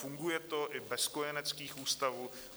Funguje to i bez kojeneckých ústavů.